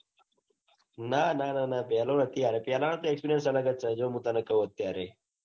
ના ના ના ના પેલો નથી. આ પેલા નો તો experience અલગ છે. જો હું તને કૌ અત્યારે